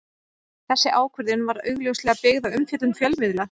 Þessi ákvörðun var augljóslega byggð á umfjöllun fjölmiðla.